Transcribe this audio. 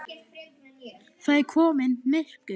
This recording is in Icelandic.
Það var komið myrkur.